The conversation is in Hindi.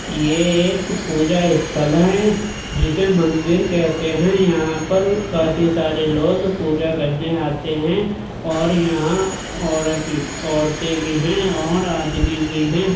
ये एक पूजा स्थल हैं। जिसे मंदिर कहते हैं। यहाँ पर काफी सारे लोग पूजा करने आते हैं और यहाँ औरत औरते भी हैं और आदमी भी हैं।